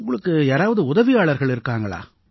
உங்களுக்கு யாராவது உதவியாளர்கள் இருக்காங்களா